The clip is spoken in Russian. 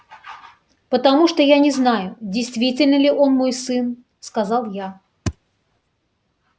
потому что я не знаю действительно ли он мой сын сказал я